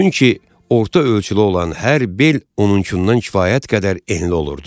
Çünki orta ölçülü olan hər bel onunkuından kifayət qədər enli olurdu.